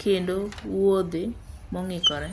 kendo wuiodhe mong'ikre.